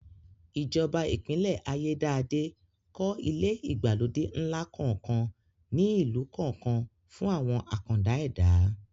Ìjọba Ìpínlẹ̀ Ayédáadé kọ́ ilé ìgbàlódé ńlá kọ̀ọ̀kan ní ìlú kọ̀ọ̀kan fún àwọn àkàndá ẹ̀dá